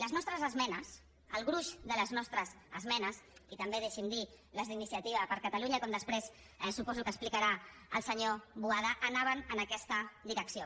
les nostres esmenes el gruix de les nostres esmenes i també deixi’m dir ho les d’iniciativa per catalunya com després suposo que explicarà el senyor boada anaven en aquesta direcció